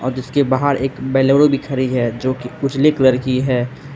जिसके बाहर एक बेलोरो भी खड़ी है जो की उजले कलर की है।